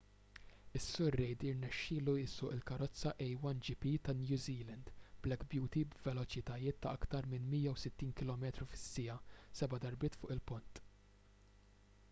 is-sur reid irnexxielu jsuq il-karozza a1gp tan-new zealand black beauty b’veloċitajiet ta’ aktar minn 160km/siegħa seba’ darbiet fuq il-pont